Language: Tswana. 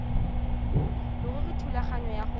leruri thulaganyo ya go